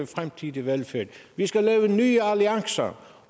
fremtidig velfærd vi skal lave nye alliancer